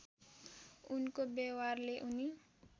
उनको व्यवहारले उनी